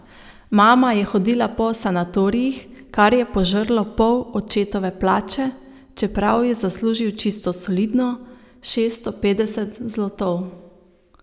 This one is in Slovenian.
Mama je hodila po sanatorijih, kar je požrlo pol očetove plače, čeprav je zaslužil čisto solidno, šeststo petdeset zlotov.